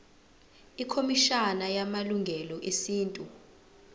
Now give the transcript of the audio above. ikhomishana yamalungelo esintu